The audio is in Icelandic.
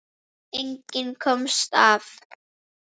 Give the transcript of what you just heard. Enginn komst af.